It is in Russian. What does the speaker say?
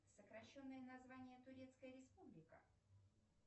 сокращенное название турецкая республика